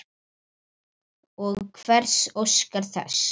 Og hver óskar þess?